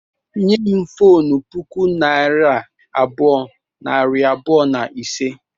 Nye m fonu puku naira abụọ, nari abụọ na ise